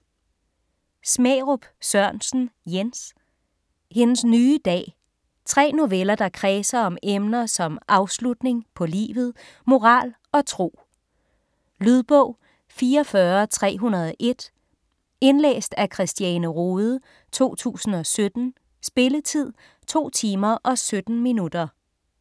Smærup Sørensen, Jens: Hendes nye dag Tre noveller der kredser om emner som afslutning (på livet), moral og tro. Lydbog 44301 Indlæst af Christiane Rohde, 2017. Spilletid: 2 timer, 17 minutter.